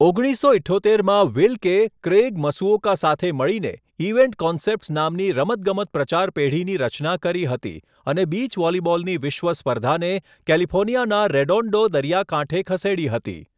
ઓગણીસસો ઇઠ્ઠોતેરમાં, Wilke Craig Masuoka સાથે મળીને ઇવેન્ટ કોન્સેપ્ટ્સ નામની રમતગમત પ્રચાર પેઢીની રચના કરી હતી અને બીચ વૉલિબૉલની વિશ્વ સ્પર્ધાને કેલિફોર્નિયાનાં રેડોન્ડો દરિયાકાંઠે ખસેડી હતી.